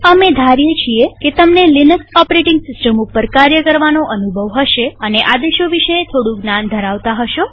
અમે ધારીએ છીએ કે તમને લિનક્સ ઓપરેટીંગ સિસ્ટમ ઉપર કાર્ય કરવાનો અનુભવ હશે અને આદેશો વિશે થોડું જ્ઞાન ધરાવતા હશો